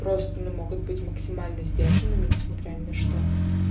просто они могут быть максимально сдержанным и несмотря ни на что